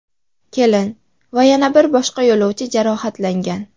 Kelin va yana bir boshqa yo‘lovchi jarohatlangan.